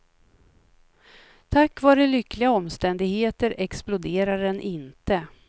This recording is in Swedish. Tack vare lyckliga omständigheter exploderade den inte.